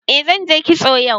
Eh zanje kitso yau